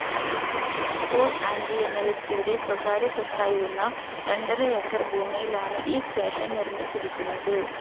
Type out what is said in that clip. Paul ആൻ്റി എന്ന വ്യക്തിയുടെ സ്വകാര്യ സ്വത്തായിരുന്ന രണ്ടര ഏക്കർ ഭൂമിയിലാണ് ഈ സ്റ്റേഷൻ നിർമ്മിച്ചിരിക്കുന്നത്.